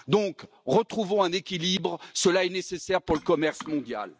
Donc, retrouvons un équilibre, cela est nécessaire pour le commerce mondial.